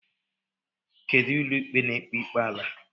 Kedụ ụlọikpe na-ekpe ikpe ala?